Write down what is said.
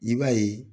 I b'a ye